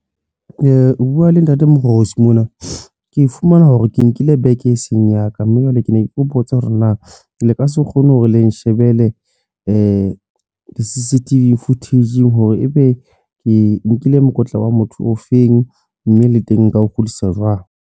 Ho bua le Ntate Moorosi mona ke fumana hore ke nkile beke e seng ya ka mme jwale ke ne ke botsa hore na ke le ka se kgone hore le nshebele di-CCTV footage hore ebe ke nkile mokotla wa motho o feng, mme le teng nka ho kgotlisa jwang.